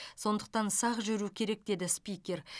сондықтан сақ жүру керек деді спикер